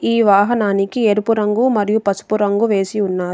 ఈ వాహనానికి ఎరుపు రంగు మరియు పసుపు రంగు వేసి ఉన్నారు.